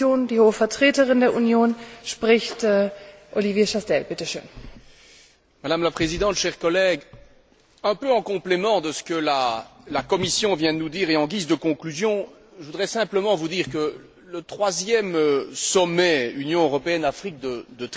Madame la Présidente, chers collègues, un peu en complément de ce que la Commission vient de nous dire et en guise de conclusion, je voudrais vous dire que le troisième sommet Union européenne Afrique de Tripoli devra envoyer un signal politique important visant à intensifier